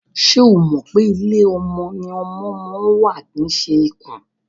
Ṣo mọ̀ pé ilé ọmọ ni ọmọ ma ń wà kìí ṣe ikùn?